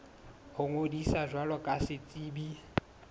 ho ngodisa jwalo ka setsebi